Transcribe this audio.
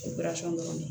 dɔrɔn